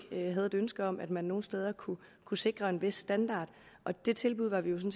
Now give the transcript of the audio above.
havde et ønske om at man nogle steder kunne kunne sikre en vis standard det tilbud var vi jo